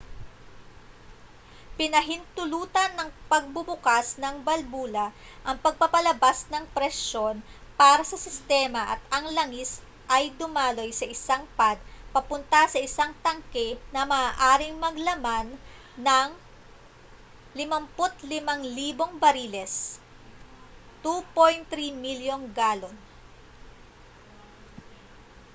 pinahintulutan ng pagbubukas ng balbula ang pagpapalabas ng presyon para sa sistema at ang langis ay dumaloy sa isang pad papunta sa isang tangke na maaaring maglaman ng 55,000 bariles 2.3 milyong galon